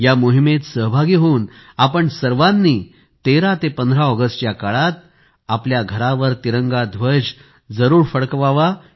या मोहिमेत सहभागी होऊ आपण सर्वांनी 13 ते 15 ऑगस्ट या काळात आपल्या घरावर तिरंगा ध्वज जरूर फडकवा